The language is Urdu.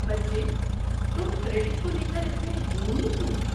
بچے، تم کریڈٹ کو لے اتنے جنونی کیوں ہو؟